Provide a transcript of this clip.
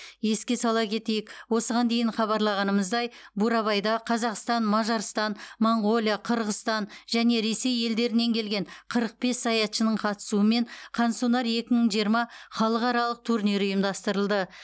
еске сала кетейік осыған дейін хабарлағанымыздай бурабайда қазақстан мажарстан моңғолия қырғызстан және ресей елдерінен келген қырық бес саятшының қатысуымен қансонар екі мың жиырма халықаралық турнирі ұйымдастырылды